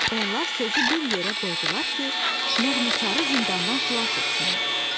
Onlar sözü bir yerə qoydular ki, nəğməkarı zindandan xilas etsinlər.